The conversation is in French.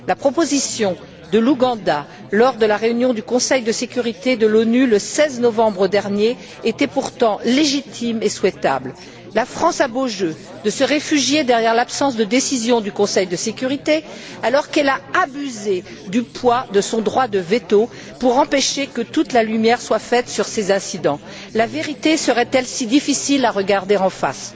La proposition de l'Ouganda, lors de la réunion du Conseil de sécurité de l'ONU le 16 novembre dernier, était pourtant légitime et souhaitable. La France a beau jeu de se réfugier derrière l'absence de décision du Conseil de sécurité alors qu'elle a abusé du poids de son droit de veto pour empêcher que toute la lumière soit faite sur ces incidents. La vérité serait elle si difficile à regarder en face?